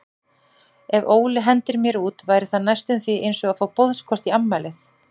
Ef Óli hendir mér út væri það næstum því einsog að fá boðskort í afmælið.